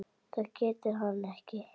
Það getur hann ekki.